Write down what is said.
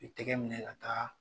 I tɛgɛ minɛ ka taa.